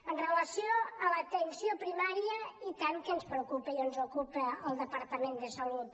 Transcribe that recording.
amb relació a l’atenció primària i tant que ens preocupa i ens ocupa al departament de salut